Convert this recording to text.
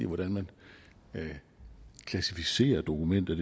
hvordan man klassificerer dokumenter